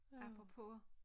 Apropos